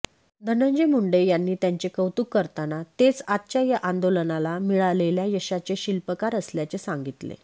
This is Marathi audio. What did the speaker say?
धनंजय मुंडे यांनी त्यांचे कौतुक करताना तेच आजच्या या आंदोलनाला मिळालेल्या यशाचे शिल्पकार असल्याचे सांगितले